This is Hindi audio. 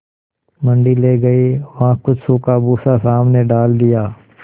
मंडी ले गये वहाँ कुछ सूखा भूसा सामने डाल दिया